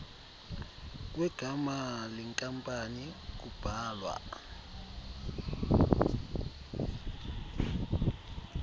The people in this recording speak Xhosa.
kwegama lenkampani kubhalwa